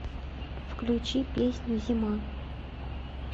включи песню зима